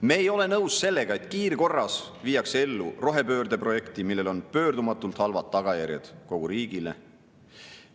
Me ei ole nõus sellega, et kiirkorras viiakse ellu rohepöörde projekti, millel on pöördumatult halvad tagajärjed kogu riigile.